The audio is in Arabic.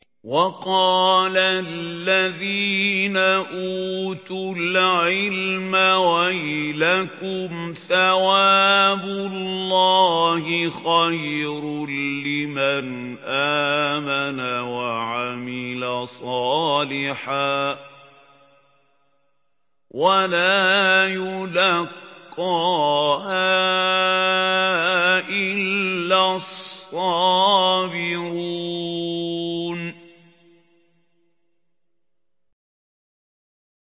وَقَالَ الَّذِينَ أُوتُوا الْعِلْمَ وَيْلَكُمْ ثَوَابُ اللَّهِ خَيْرٌ لِّمَنْ آمَنَ وَعَمِلَ صَالِحًا وَلَا يُلَقَّاهَا إِلَّا الصَّابِرُونَ